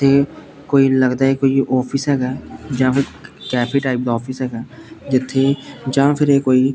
ਤੇ ਕੋਈ ਲੱਗਦਾ ਕੋਈ ਆਫਿਸ ਹੈਗਾ ਜਾਂ ਫਿਰ ਕੈਫੇ ਟਾਈਪ ਦਾ ਆਫਿਸ ਹੈਗਾ ਜਿੱਥੇ ਜਾਂ ਫਿਰ ਇਹ ਕੋਈ--